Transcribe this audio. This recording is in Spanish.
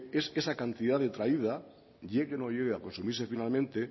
es esa cantidad de llegue o no llegue a consumirse finalmente